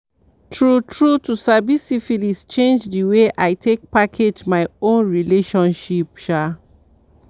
true true to sabi syphilis change the way i take package my own relationship um